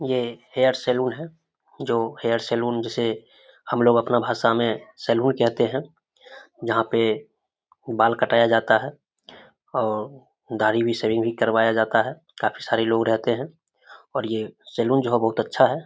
ये hair salon है जो हेयर सैलून जिसे हमलोग अपना भाषा मे सैलून कहते है जहाँ पे बाल कटाया जाता है और दाढ़ी भी सेविंग भी करवाया जाता है काफी सारे लोग रहते है और ये सैलून जो है बहुत अच्छा है।